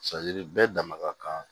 bɛɛ dama ka kan